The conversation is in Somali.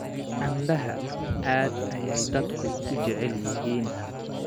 Canbaha aad ayay dadku u jecel yihiin.